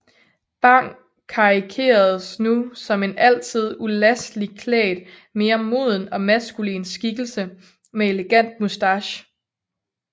Bang karikeredes nu som en altid ulasteligt klædt mere moden og maskulin skikkelse med elegant moustache